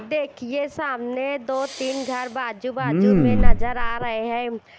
देखिए सामने दो तीन घर बाजू बाजू में नजर आ रहे हैं।